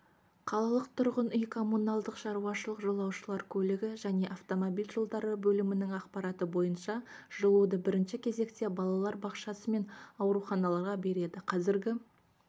қалалық тұрғын үй-коммуналдық шаруашылық жолаушылар көлігі және автомобиль жолдары бөлімінің ақпараты бойынша жылуды бірінші кезекте балалар бақшасы мен ауруханаларға береді қазіргі